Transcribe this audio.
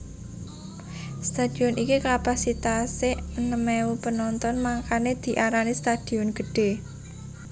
Stadion iki kapasitas e enem ewu penonton mangkane diarani stadion gede